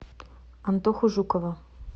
антоху жукова